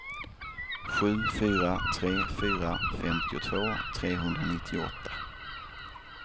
sju fyra tre fyra femtiotvå trehundranittioåtta